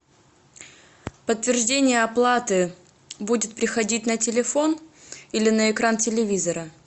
подтверждение оплаты будет приходить на телефон или на экран телевизора